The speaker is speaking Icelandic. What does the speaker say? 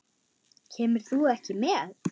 Kemur þú ekki með?